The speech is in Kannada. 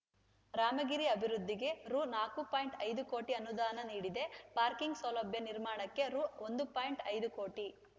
ರಾಮಗಿರಿ ಆಭಿವೃದ್ಧಿಗೆ ರು ನಾಕು ಪಾಯಿಂಟ್ ಐದು ಕೋಟಿ ಅನುದಾನ ನೀಡಿದೆ ಪಾರ್ಕಿಂಗ್‌ ಸೌಲಭ್ಯ ನೀರ್ಮಾಣಕ್ಕೆ ರು ಒಂದು ಪಾಯಿಂಟ್ ಐದು ಕೋಟಿ